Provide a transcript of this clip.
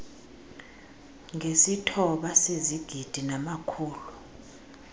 ngesithoba sezigidi namakhulu